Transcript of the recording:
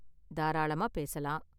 தாராளமா பேசலாம்.